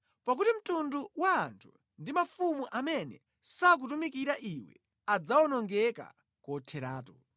Pakuti mtundu wa anthu ndi mafumu amene sakutumikira iwe; adzawonongeka kotheratu.